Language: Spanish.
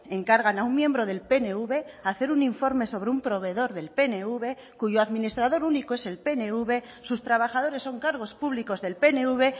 encargan a un miembro del pnv hacer un informe sobre un proveedor del pnv cuyo administrador único es el pnv sus trabajadores son cargos públicos del pnv